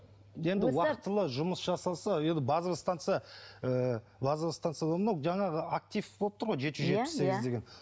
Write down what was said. енді уақытылы жұмыс жасаса енді базовая станция ыыы жаңағы актив болып тұр ғой жеті жүз жетпіс сегіз деген